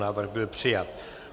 Návrh byl přijat.